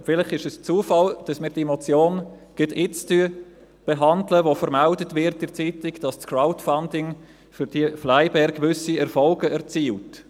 Vielleicht ist es Zufall, dass wir diese Motion gerade jetzt behandeln, wo in der Zeitung vermeldet wird, dass das Crowdfunding für diese «FlyBair» gewisse Erfolge erzielt.